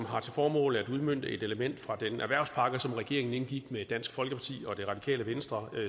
har til formål at udmønte et element fra den erhvervspakke som regeringen indgik med dansk folkeparti og det radikale venstre